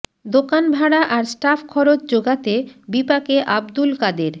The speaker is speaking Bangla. দোকান ভাড়া আর স্টাফ খরচ যোগাতে বিপাকে আব্দুল কাদের